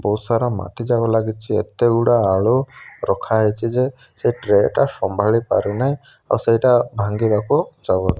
ବହୁତ୍ ସାରା ମାଟି ଯାକ ଲାଗିଛି ଏତେ ଗୁଡ଼ା ଆଳୁ ରଖା ହେଇଚି ଯେ ସେ ଟ୍ରେ ଟା ସମ୍ଭାଳି ପାରୁନାହିଁ ଆଉ ସେଟା ବିଭାଙ୍ଗିବା କୁ ଯାଉଛି ।